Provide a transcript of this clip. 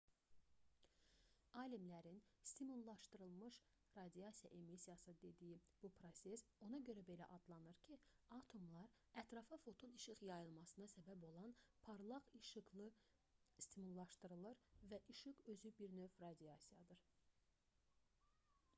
alimlərin stimullaşdırılmış radiasiya emissiyası dediyi bu proses ona görə belə adlanır ki atomlar ətrafa foton işıq yayılmasına səbəb olan parlaq işıqla stimullaşdırılır və işıq özü bir növ radiasiyadır